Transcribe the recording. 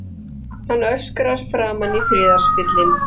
Hann öskrar framan í friðarspillinn.